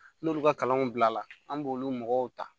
N'olu ka kalanw bilala an b'olu mɔgɔw ta